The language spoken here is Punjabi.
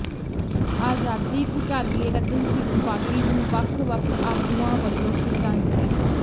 ਆਜ਼ਾਦੀ ਘੁਲਾਟੀਏ ਰਤਨ ਸਿੰਘ ਬਾਗੀ ਨੂੰ ਵੱਖ ਵੱਖ ਆਗੂਆਂ ਵੱਲੋਂ ਸ਼ਰਧਾਂਜਲੀ